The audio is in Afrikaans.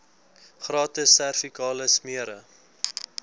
gratis servikale smere